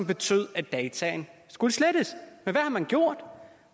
betyde at dataene skulle slettes men hvad har man gjort